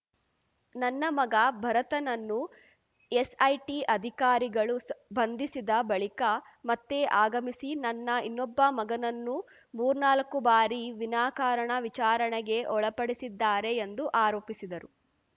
ನನ್ನ ಮಗ ಭರತನನ್ನು ಎಸ್‌ಐಟಿ ಅಧಿಕಾರಿಗಳು ಬಂಧಿಸಿದ ಬಳಿಕ ಮತ್ತೆ ಆಗಮಿಸಿ ನನ್ನ ಇನ್ನೊಬ್ಬ ಮಗನನ್ನೂ ಮೂರ್ನಾಲ್ಕು ಬಾರಿ ವಿನಾಕಾರಣ ವಿಚಾರಣೆಗೆ ಒಳಪಡಿಸಿದ್ದಾರೆ ಎಂದು ಆರೋಪಿಸಿದರು